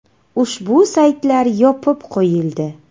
Ushbu saytlar yopib qo‘yildi.